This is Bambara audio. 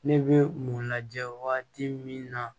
Ne bɛ mun lajɛ waati min na